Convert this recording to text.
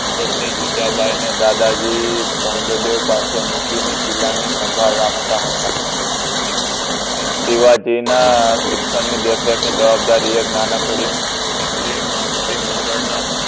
પત્ની જીજાબાઇનું દાદાજી કોંડદેવ પાસે મૂકીને કીલ્લા ની સંબડ રાખતા હતા શિવાજી ના શિક્ષણની દેખરેખની જવાબદારી એક નાનકડી એ મંત્રી મંડળ